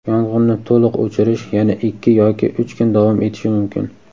Yong‘inni to‘liq o‘chirish yana ikki yoki uch kun davom etishi mumkin.